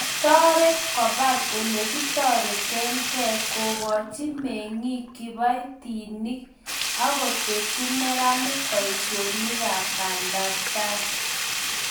Kitoret kobal olekitoretekei, kokoch mengik kibatinik akotesyi neranik boisionikab bandaptai